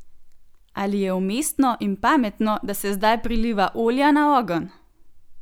Ali je umestno in pametno, da se zdaj priliva olja na ogenj?